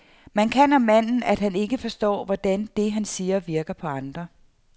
Man kan om manden, at han ikke forstår, hvordan det, han siger, virker på andre.